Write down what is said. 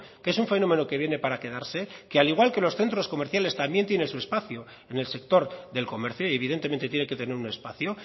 que es un fenómeno que viene para quedarse que al igual que los centros comerciales también tiene su espacio en el sector del comercio y evidentemente tiene que tener un espacio